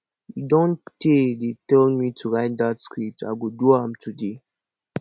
e don tey dey tell me to write dat script i go do am today